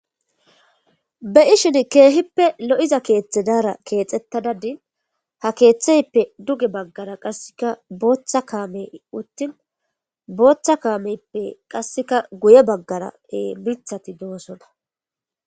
Be7ishin keehippe lo7iza keethi keexettada dishin , ha keetheyippe duge baggara qassika bootha kaameyippe guye baggara miththati de7osona.